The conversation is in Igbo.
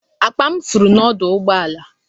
Akpa m furu n'ọdụ ụgbọ ala.